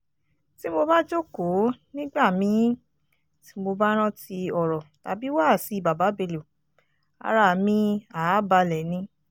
tí mo bá jókòó nígbà mi-ín tí mo bá rántí ọ̀rọ̀ tàbí wáàsí baba bello ara mi àá balẹ̀ ni